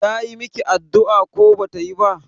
Tayi miki addu'a ko bata yi ba?